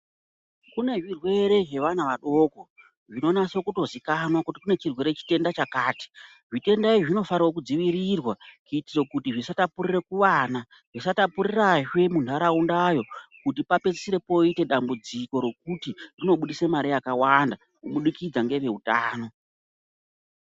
Kune zvirwere zvevana vadoko zvinonaso kutozikanzwa kuti kune chirwere chitenda chakati. Zvitenda izvi zvinofanirwa kudzivirirwa kutiro kuti zvisatapurire kuvana, zvisatapurirazve muntaraunda iyo kuti papedzisire poite dambudziko rokuti rinobudise mare yakawanda kubudikidza ngeveutano.